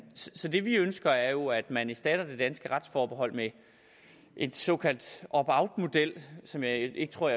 så det vi ønsker er jo at man erstatter det danske retsforbehold med en såkaldt opt out model som jeg ikke tror